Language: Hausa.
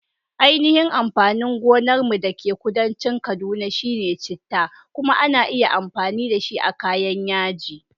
Ainihin amfanin gonar mu da ke kudancin kaduna shine chitta, kuma ana iya amfani dashi a kayan yaji.